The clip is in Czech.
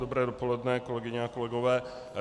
Dobré dopoledne, kolegyně a kolegové.